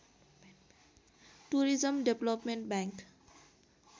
tourism development bank